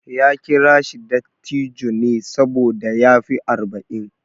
Ya kira shi dattijo ne saboda ya fi arba'in.